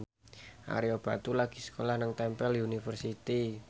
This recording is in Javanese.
Ario Batu lagi sekolah nang Temple University